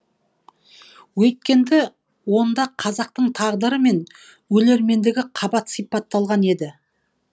онда қазақтың тағдыры мен өлермендігі қабат сипатталған еді